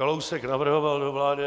Kalousek navrhoval do vlády,